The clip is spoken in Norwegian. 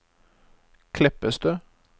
Kleppestø